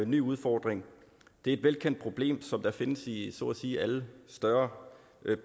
ny udfordring det er et velkendt problem som findes i så at sige alle større